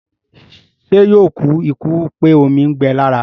Ṣé yóò kú ikú pé omi ń gbẹ lára?